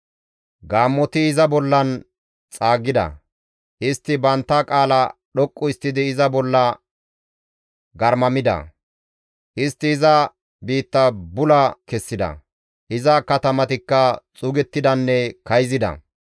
Gaammoti iza bollan xaaggida; istti bantta qaala dhoqqu histtidi iza bolla garmamida; istti iza biitta bula kessida; iza katamatikka xuugettidanne kayzida.